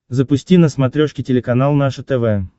запусти на смотрешке телеканал наше тв